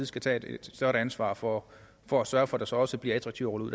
skal tage et større ansvar for for at sørge for at det så også bliver attraktivt